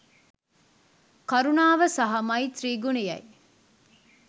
කරුණාව සහ මෛත්‍රී ගුණයයි.